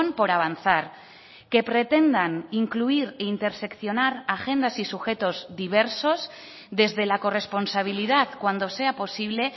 por avanzar que pretendan incluir e interseccionar agendas y sujetos diversos desde la corresponsabilidad cuando sea posible